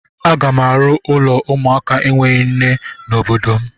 Aga m arụ ụlọ ụmụaka enweghị nne n'obodo m.